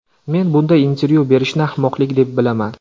Men bunday intervyu berishni ahmoqlik deb bilaman.